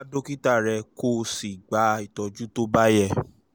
um wá um dókítà rẹ kó o sì gba ìtọ́jú tó bá yẹ